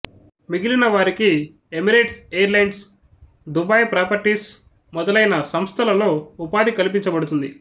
మిగిలిన వారికి Emirate Airlines Dubai Properties మొదలైన సంస్థలలో ఉపాధి కల్పించబడుతుంది